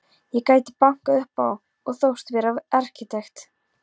Ég gæti bankað upp á og þóst vera arkitekt.